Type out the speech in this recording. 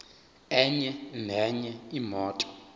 enye nenye imoto